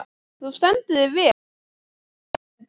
Þú stendur þig vel, Þormundur!